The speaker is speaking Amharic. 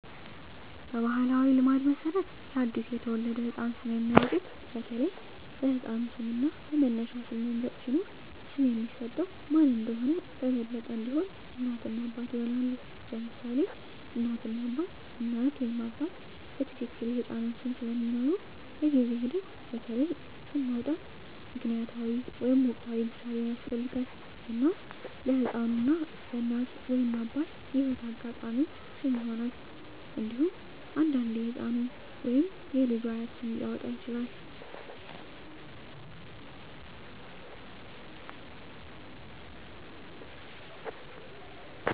በባሕላዊ ልማድ መሠረት ለአዲስ የተወለደ ህፃን ስም የሚያወጡት በተለይ በሕፃኑ ስም እና በመነሻ ስም መምረጥ ሲኖር፣ ስም የሚሰጠው ማን እንደሆነ በበለጠ እንዲሆን፣ እናት እና አባት ይሆናሉ: ለምሳሌ እናት እና አባት: እናት ወይም አባት በትክክል የሕፃኑን ስም ስለሚምሩ፣ በጊዜ ሂደት በተለይ ስም ማውጣት ምክንያታዊ ወይም ወቅታዊ ምሳሌን ያስፈልጋል፣ እና ለሕፃኑ በእናት ወይም አባት የህይወት አጋጣሚዎች ስም ይሆናል። እንዴሁም አንዳንዴ የህፃኑ ወይም የልጁ አያት ስም ሊያወጣ ይችላል።